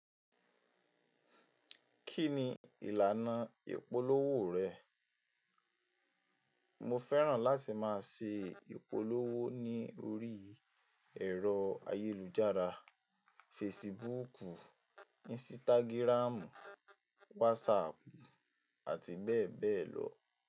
Kí ni ìlànà ìpolówó rẹ̀? Mo fẹ́ràn láti máa ṣe ìpolówó ní orí ẹ̀rọ ayélujára; Facebook, Instagram, WhatsApp àti bẹ́ẹ̀ bẹ́ẹ̀ lọ.